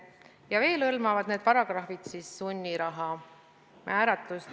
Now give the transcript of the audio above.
Ja veel hõlmavad need paragrahvid sunniraha määra.